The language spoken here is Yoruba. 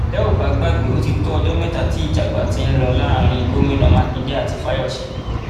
tẹ ò bá gbàgbé ó ti tó ọjọ mẹta tí ìjà àgbà ti ń lọ láàrin gomina makinde àti fáyọsé